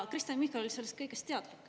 Kristen Michal oli sellest kõigest teadlik.